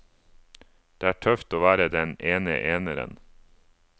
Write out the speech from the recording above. Det er tøft å være den ene eneren.